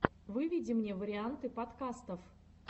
выведи мне варианты подкастов